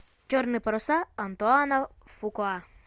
черные паруса антуана фукуа